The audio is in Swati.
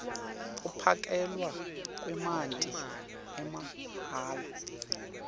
kuphakelwa kwemanti amahhala